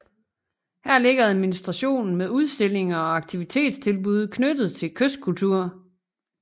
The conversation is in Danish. Her ligger administrationen med udstillinger og aktivitetstilbud knyttet til kystkultur